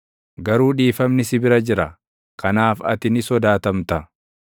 Garuu dhiifamni si bira jira; kanaaf ati ni sodaatamta.